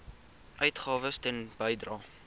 uitgawes ten bedrae